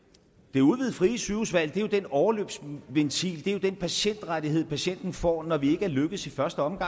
det udvidede frie sygehusvalg er jo den overløbsventil det er den patientrettighed patienten får når vi ikke er lykkedes i første omgang